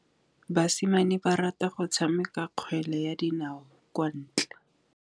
Basimane ba rata go tshameka kgwele ya dinaô kwa ntle.